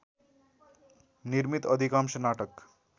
निर्मित अधिकांश नाटक